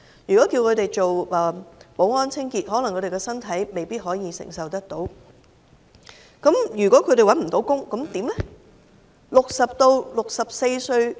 如果叫他們做保安、清潔，可能他們的身體未必承受得來，如果找不到工作，怎麼辦呢？